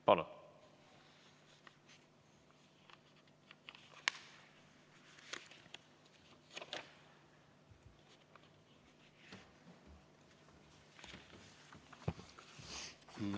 Palun!